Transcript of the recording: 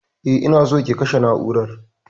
E, ina so ki kashe na'urar.